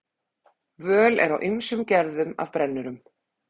Völ er á ýmsum gerðum af brennurum.